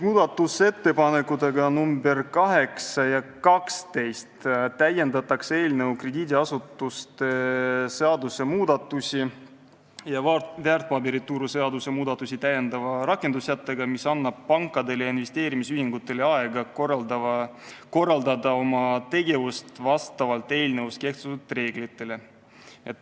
Muudatusettepanekutega nr 8 ja 12 täiendatakse eelnõu krediidiasutuste seaduse muudatusi ja väärtpaberituru seaduse muudatusi täiendava rakendussättega, mis annab pankadele ja investeerimisühingutele aega korraldada oma tegevust vastavalt eelnõus kehtestatud reeglitele.